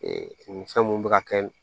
nin fɛn mun bɛ ka kɛ